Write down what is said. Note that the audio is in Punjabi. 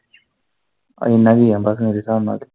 ਇੰਨਾ ਕ ਹੀ ਆ ਬਸ ਮੇਰੇ ਸਾਬ ਨਾਲ ਤੇ।